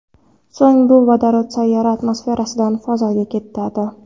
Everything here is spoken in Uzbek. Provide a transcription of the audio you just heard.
So‘ng bu vodorod sayyora atmosferasidan fazoga ketadi.